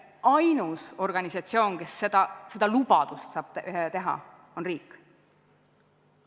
Ainus organisatsioon, kes seda lubadust saab anda, on riik.